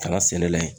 Kala sɛnɛ la ye